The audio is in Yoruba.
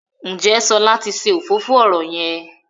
Njé Shola tí ṣe òfófó ọrọ yén?